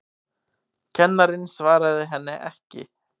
Kennarinn svaraði henni ekki.